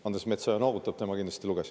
Andres Metsoja noogutab, tema kindlasti luges.